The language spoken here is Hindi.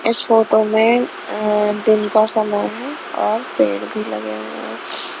इस फोटो में दिल का समय और पेड भी लगे हुये हैं.